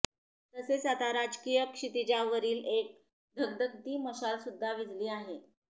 तसेच आता राजकीय क्षितिजावरील एक धगधगती मशाल सुद्धा विझली आहे